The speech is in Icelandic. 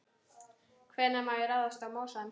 Hvenær má ráðast í mosann?